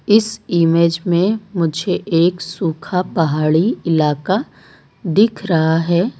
इस इमेज में मुझे एक सूखा पहाड़ी इलाका दिख रहा है।